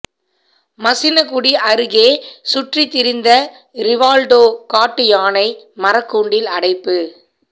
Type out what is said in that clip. மசினகுடி அருகே சுற்றித்திரிந்த ரிவால்டோ காட்டு யானை மரக்கூண்டில் அடைப்பு